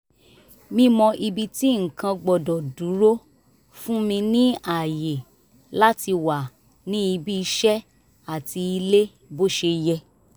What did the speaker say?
mímọ̀ ibi tí nǹkan gbọ́dọ̀ dúró fún mi ní àyè láti wà ní ibi iṣẹ́ àti ilé bó ṣe yẹ